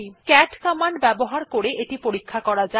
cat command ব্যবহার করে এটি পরীক্ষা করা যাক